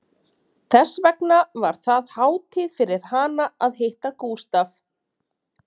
Þess vegna var það hátíð fyrir hana að hitta Gústaf